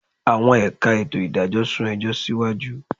Àwọn ẹ̀ka ètò ìdájọ́ sún ẹjọ́ síwájú